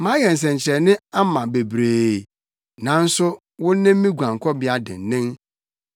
Mayɛ nsɛnkyerɛnne ama bebree, nanso wo ne me guankɔbea dennen.